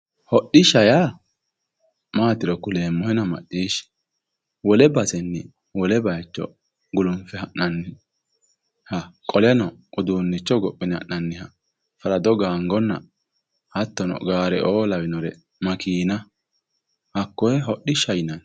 Hodishsha yaa maatiro kuleemmohenna maccishshi wole basenni wole bayicho gulunfe ha'nanniha qoleno uduunicho hogophine ha'nanniha farado gangonna hattono gaare lawinore makenna hakko hodishshaho yinnanni.